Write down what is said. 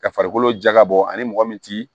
Ka farikolo jagabɔ ani mɔgɔ min ti